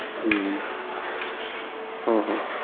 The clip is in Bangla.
হম হম হম